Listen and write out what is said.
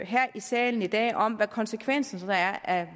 salen i dag om hvad konsekvenserne så er af